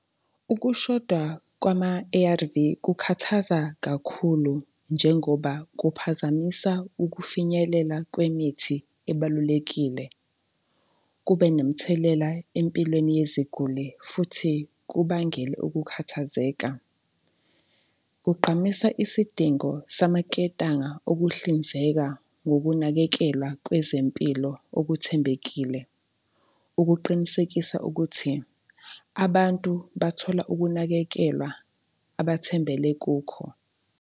Ukushoda kwama-A_R_V kukhathaza kakhulu njengoba kuphazamisa ukufinyelela kwemithi ebalulekile, kube nomthelela empilweni yeziguli futhi kubangele ukukhathazeka. Kugqamisa isidingo samaketanga okuhlinzeka ngokunakekelwa kwezempilo okuthembekile ukuqinisekisa ukuthi abantu bathola ukunakekelwa abathembele kukho.